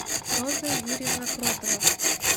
роза юрьевна кротова